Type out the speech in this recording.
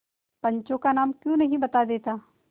पंचों का नाम क्यों नहीं बता देता